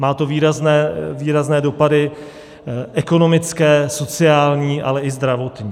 Má to výrazné dopady ekonomické, sociální, ale i zdravotní.